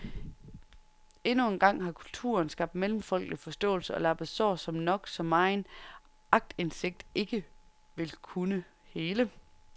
Endnu engang har kulturen skabt mellemfolkelig forståelse og lappet sår, som nok så megen aktindsigt ikke vil kunne hele.